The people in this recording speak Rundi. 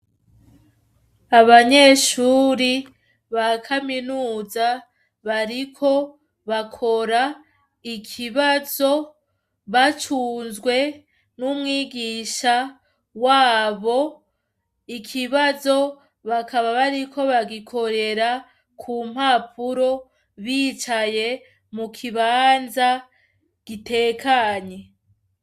Abanyeshuri ba kaminuza bariko bakora ikibazo, bacumzwe n'umwigisha wabo. Ikibazo, bakaba bariko bagikorera ku mpapuro, bicaye mu kibanza gitekanye.